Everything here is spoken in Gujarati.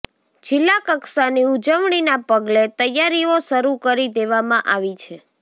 જિલ્લાકક્ષાની ઉજવણીના પગલે તૈયારીઓ શરૃ કરી દેવામાં આવી છે